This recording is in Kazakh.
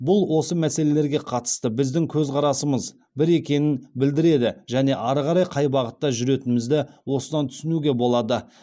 бұл осы мәселелерге қатысты біздің көзқарасымыз бір екенін білдіреді және ары қарай қай бағытта жүретінімізді осыдан түсінуге болады